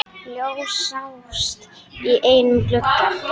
Ljós sást í einum glugga.